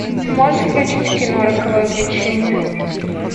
можешь включить кино роковое влечение